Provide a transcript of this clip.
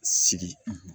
Sigi